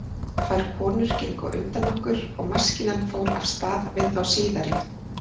Tvær konur gengu á undan okkur og maskínan fór af stað við þá síðari.